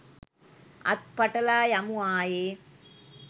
අත් පටලා යමු ආයේ